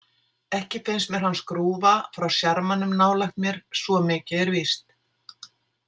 Ekki finnst mér hann skrúfa frá sjarmanum nálægt mér, svo mikið er víst.